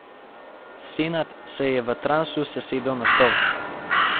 Senad se je v transu sesedel na stol.